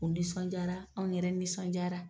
O nisɔn jara anw yɛrɛ nisɔn jara